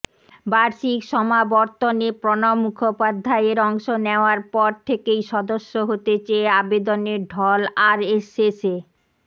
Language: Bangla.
বার্ষিক সমাবর্তনে প্রণব মুখোপাধ্যায়ের অংশ নেওয়ার পর থেকেই সদস্য হতে চেয়ে আবেদনের ঢল আরএসএসে